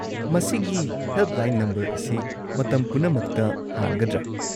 ꯃꯁꯤꯒꯤ helpline number ꯑꯁꯤ ꯃꯇꯝ ꯄꯨꯝꯅꯃꯛꯇ ꯍꯥꯡꯒꯗ꯭ꯔꯥ?